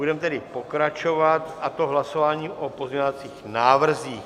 Budeme tedy pokračovat, a to hlasováním o pozměňovacích návrzích.